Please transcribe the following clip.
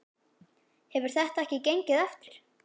Hefur þetta ekki gengið eftir?